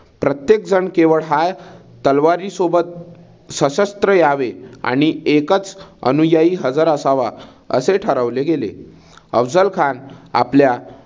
प्रत्येक जन केवळ हा तलवारी सोबत सशस्त्र यावे आणि एकच अनुयायी हझर असावा असे ठरवले गेले. अफझल खान हा आपल्या